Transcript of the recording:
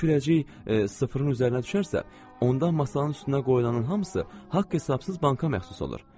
Əgər kürəcik sıfırın üzərinə düşərsə, onda masanın üstünə qoyulanın hamısı haqq-hesabsız banka məxsus olur.